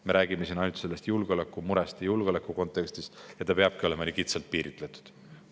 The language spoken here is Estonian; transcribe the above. Me räägime praegu ainult julgeolekumurest ja julgeoleku kontekstist ning see peabki olema kitsalt piiritletud.